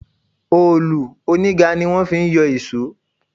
Òòlù oníga ní wọ́n fi ń yọ ìṣọ́.